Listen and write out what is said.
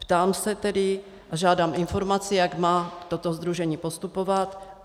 Ptám se tedy a žádám informaci, jak má toto sdružení postupovat.